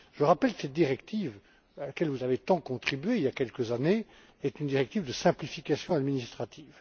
Je rappelle que cette directive, à laquelle vous avez tant contribué il y a quelques années, est une directive de simplification administrative.